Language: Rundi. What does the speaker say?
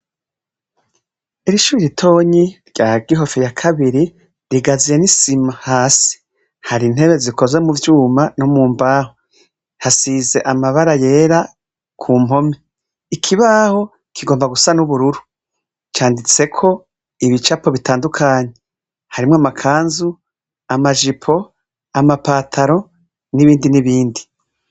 Ishure ritonyi rya Gihofi ya kabiri rugazuye n'isima hasi ,hari intebe zikoze mu vyuma no mu mbaho hasize amabara yera ku mpome . Ikibaho kigomba gusa n'ubururu canditseko ibicapo bitandukanye harimwo amakanzu, amajipo, amapantaro, n'ibindi n'ibindi.